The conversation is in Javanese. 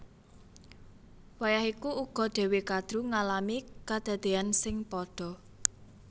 Wayah iku uga Dewi Kadru ngalami kadadéyan sing padha